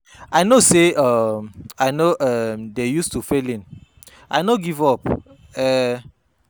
I no say um I no um dey use to failing, I no give up. um